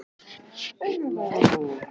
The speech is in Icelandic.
Einn sunnudaginn fengu þau kótilettur í raspi.